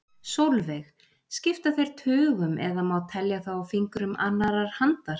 Sólveig: Skipta þeir tugum eða má telja þá á fingrum annarrar handar?